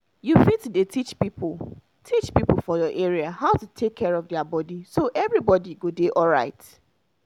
you fit dey teach people teach people for your area how to take care of their body so everybody go dey alright.